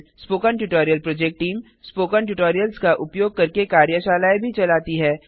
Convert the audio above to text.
spoken tutorial project team spoken tutorials का उपयोग करके कार्यशालाएँ भी चलाती है